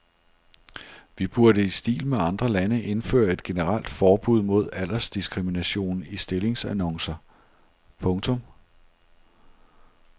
Vi burde i stil med andre lande indføre et generelt forbud mod aldersdiskrimination i stillingsannoncer. punktum